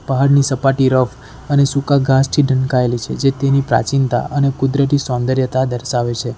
પહાડની સપાટી રફ અને સૂકા ઘાસથી ઢંકાયેલી છે જે તેની પ્રાચીનતા અને કુદરતી સૌંદર્યતા દર્શાવે છે.